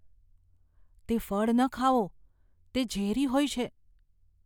તે ફળ ન ખાઓ. તે ઝેરી હોય છે.